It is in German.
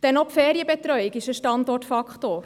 Denn auch die Ferienbetreuung ist ein Standortfaktor.